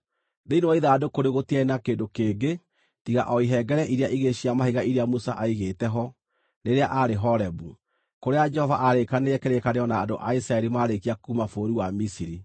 Thĩinĩ wa ithandũkũ rĩu gũtiarĩ na kĩndũ kĩngĩ tiga o ihengere iria igĩrĩ cia mahiga iria Musa aigĩte ho rĩrĩa aarĩ Horebu, kũrĩa Jehova aarĩkanĩire kĩrĩkanĩro na andũ a Isiraeli maarĩkia kuuma bũrũri wa Misiri.